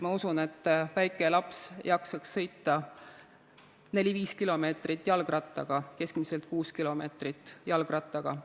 Ma usun, et väike laps jaksaks sõita keskmiselt kuus kilomeetrit jalgrattaga.